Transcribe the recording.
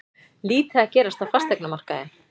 Lítið að gerast á fasteignamarkaði